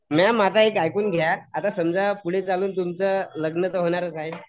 ma'am आता एक ऐकून घ्या समजा पुढे चालून तुमचं लग्न तर होणारच आहे